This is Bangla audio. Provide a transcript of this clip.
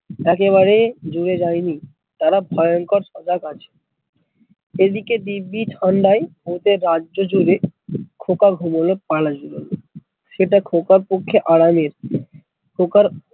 একে বারে জুড়ে যায় নি তারা ভয়ঙ্কর সজাগ আছে এদিকে দিব্বি ঠান্ডায় ভুতের রাজ্য জুড়ে খোকা ঘুমোলো পাড়া জুড়োলো সেটা খোকার পক্ষে আরামের খোকার